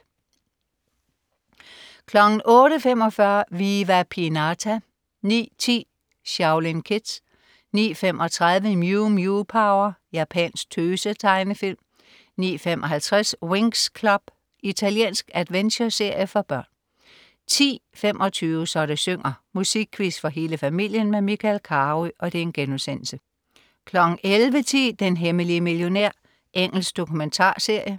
08.45 Viva Pinata 09.10 Shaolin Kids 09.35 Mew Mew Power. Japansk tøse-tegnefilm 09.55 Winx Club. Italiensk adventureserie for børn 10.25 Så det synger. Musikquiz for hele familien med Michael Carøe* 11.10 Den hemmelige millionær. Engelsk dokumentarserie